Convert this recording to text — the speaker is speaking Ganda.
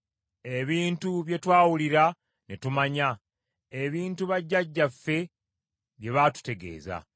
ebintu bye twawulira ne tumanya; ebintu bajjajjaffe bye baatutegeeza.